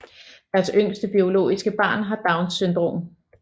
Deres yngste biologiske barn har Downs syndrom